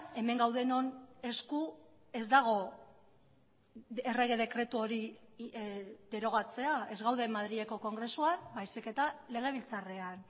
hemen gaudenon esku ez dago errege dekretu hori derogatzea ez gaude madrileko kongresuan baizik eta legebiltzarrean